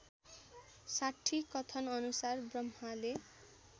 ६० कथनअनुसार ब्रह्माले